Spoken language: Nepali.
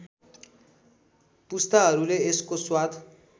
पुस्ताहरूले यसको स्वाद